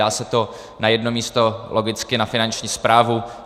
Dá se to na jedno místo, logicky na Finanční správu.